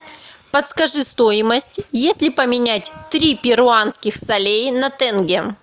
подскажи стоимость если поменять три перуанских солей на тенге